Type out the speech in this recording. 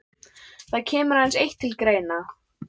Það kemur aðeins eitt til greina.